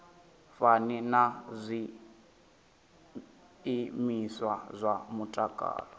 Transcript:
fani na zwiimiswa zwa mutakalo